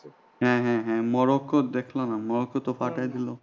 হ্যাঁ হ্যাঁ হ্যাঁ মরক্কো তো দেখলা না মরক্কো ফাটায় দিল।